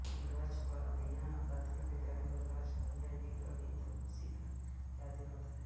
गाछबाढ़िया प्राथमिक बिद्यालय और गाछबाढ़िया बील अभि तक उसी का याद दिलाता हे